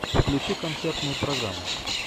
включи концертную программу